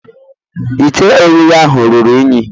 Ite Oghihe ahu ruru unyi.